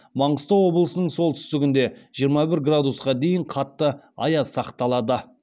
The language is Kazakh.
маңғыстау облысының солтүстігінде жиырма бір градусқа дейін қатты аяз сақталады